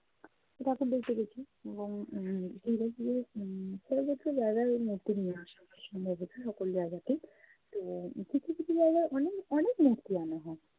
ঠাকুর দেখতে গেছি এবং উম পুজো শুরুর উম পরবর্তী জায়গায় মূর্তি নিয়ে আসে সম্ভবত নতুন জায়গাতে। তো কিছু কিছু জায়গায় অনেক অনেক মূর্তি আনা হয়।